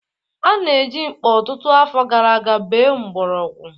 A na-eji mkpa ọtụtụ afọ gara aga bee mgborogwu.